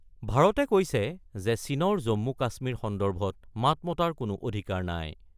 ভাৰতে কৈছে যে চীনৰ জম্মু - কাশ্মীৰ সন্দৰ্ভত মাত মতাৰ কোনো অধিকাৰ নাই ।